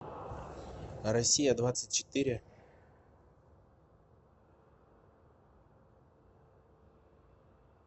россия двадцать четыре